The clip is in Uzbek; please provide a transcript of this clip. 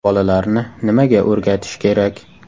Bolalarni nimaga o‘rgatish kerak?